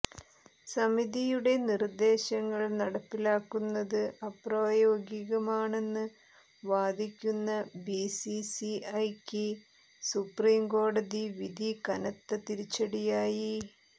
സമിതിയുടെ നിർദ്ദേശങ്ങൾ നടപ്പിലാക്കുന്നത് അപ്രായോഗികമാണെന്ന് വാദിക്കുന്ന ബിസിസിഐക്ക് സുപ്രീംകോടതി വിധി കനത്ത തിരിച്ചടിയായി